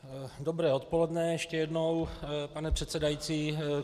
Dobré odpoledne ještě jednou, pane předsedající.